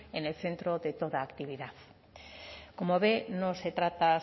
en el centro de toda actividad como ve no se trata